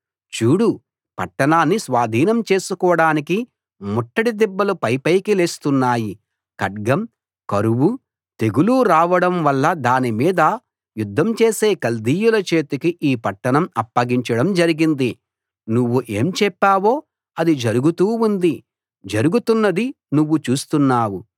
చూడు పట్టణాన్ని స్వాధీనం చేసుకోడానికి ముట్టడి దిబ్బలు పైపైకి లేస్తున్నాయి ఖడ్గం కరువు తెగులు రావడం వల్ల దాని మీద యుద్ధం చేసే కల్దీయుల చేతికి ఈ పట్టణం అప్పగించడం జరిగింది నువ్వు ఏం చెప్పావో అది జరుగుతూ ఉంది జరుగుతున్నది నువ్వు చూస్తున్నావు